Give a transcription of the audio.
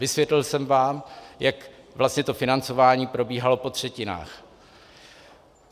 Vysvětlil jsem vám, jak vlastně to financování probíhalo po třetinách.